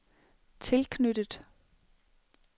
tilknyttet